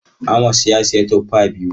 Amos ya sayi tuffa biyu.